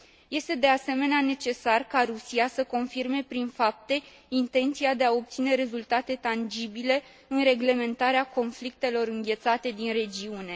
Este de asemenea necesar ca Rusia să confirme prin fapte intenția de a obține rezultate tangibile în reglementarea conflictelor înghețate din regiune.